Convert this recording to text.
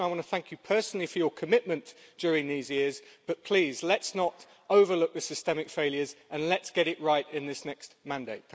Commissioner, I want to thank you personally for your commitment during these years, but please, let's not overlook the systemic failures and let's get it right in this next mandate.